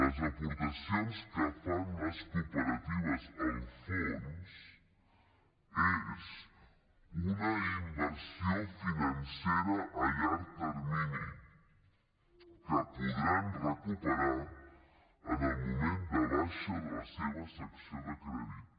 les aportacions que fan les cooperatives al fons són una inversió financera a llarg termini que podran recuperar en el moment de baixa de la seva secció de crèdit